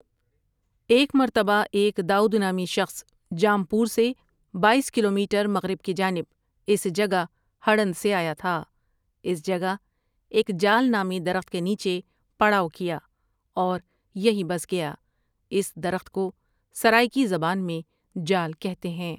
ایک مرتبہ ایک داؤد نامی شخص جامپور سے بایس کلو میٹر مغرب کی جانب اس جگہہڑند سے آیا تھا اس جگہ ایک جال نامی درخت کے نیچے پڑاؤ کیا اور یہی بس گیا اس درخت کو سرائیکی زبان میں ڄال کہتے ہیں ۔